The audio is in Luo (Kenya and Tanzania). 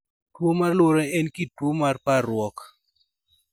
Tuwo mar luoro en kit tuwo mar parruok.